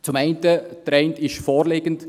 Der eine ist vorliegend: